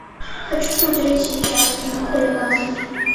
хочу смотреть сейчас кино хулиган